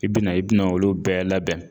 I bina i bina olu bɛɛ labɛn.